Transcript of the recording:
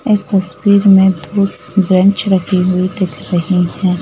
इस तस्वीर में दो ब्रेंच रखी हुई दिख रही हैं।